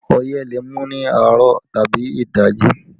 Ọyẹ́ le mú ní àárọ̀ tàbí ìdajì